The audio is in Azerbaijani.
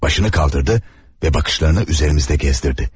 Başını qaldırdı və baxışlarını üzərimizdə gəzdirdi.